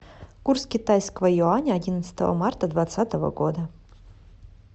курс китайского юаня одиннадцатого марта двадцатого года